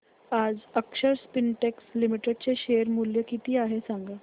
आज Akshar Spintex Limited चे share मूल्य किती आहे सांगा